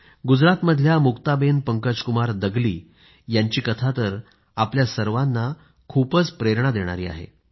गुजरातमधल्या मुक्ताबेन पंकजकुमार दगली यांची कथा तर आपल्या सर्वांना खूप प्रेरणा देणारी आहे